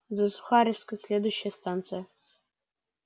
за сухаревской следующая станция